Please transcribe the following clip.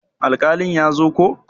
Alkalin ya zo ko?